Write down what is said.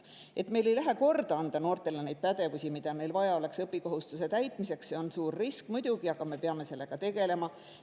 Et meil ei lähe korda anda noortele pädevusi, mida neil vaja oleks õppimiskohustuse täitmiseks – see on suur risk muidugi, aga me peame sellega tegelema.